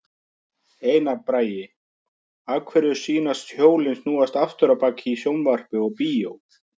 Einar Bragi: Af hverju sýnast hjólin snúast aftur á bak í sjónvarpi og bíó?